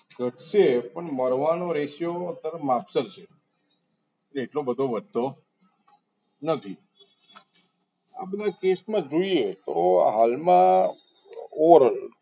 ઘટશે પણ મરવાનો ratio અત્યારે માપસર છે એટલો બધો વધતો નથી આ બધા case માં જોઈએ તો હાલમાં overall કે ભાઈ